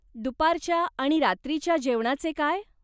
दुपारच्या आणि रात्रीच्या जेवणाचे काय?